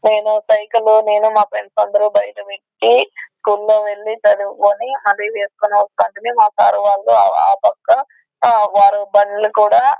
నేను సైకిలు నేను నా ఫ్రెండ్స్ అందరూ బయట పెట్టి స్కూల్లో వెళ్ళి చదువుకొని మా సర్ వాళ్ళు ఆ పక్క వాళ్ళు బళ్ళు కూడా --